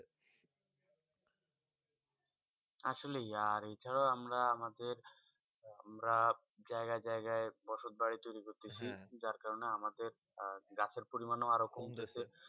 আসলে এই জায়গা আমরা আমাদের আমরা জায়গা জায়গা বসে ধরে তৈয়ারি করতেছি যার করানো আমাদের গাছে পরিমাণে আরও কম গেছে